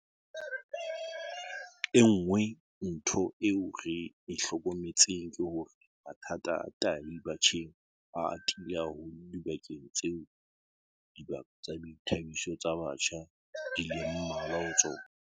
E nngwe ntho eo re e hlokometseng ke hore mathata a tahi batjheng a atile haholo dibakeng tseo dibaka tsa boithabiso tsa batjha di leng mmalwa ho tsona.